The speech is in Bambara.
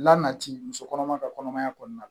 La nati muso kɔnɔma ka kɔnɔmaya kɔnɔna